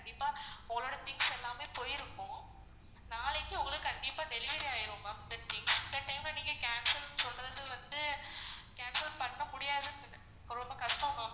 இப்போ உங்களோட things எல்லாமே போயிருக்கும். நாளைக்கு உங்களுக்கு கண்டிப்பா delivery ஆயிடும் ma'am இந்த time ல நீங்க cancel சொல்றது வந்து cancel பண்ண முடியாது, ரொம்ப கஷ்டம் ma'am